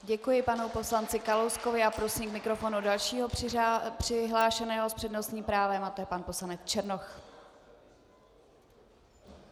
Děkuji panu poslanci Kalouskovi a prosím k mikrofonu dalšího přihlášeného s přednostním právem a to je pan poslanec Černoch.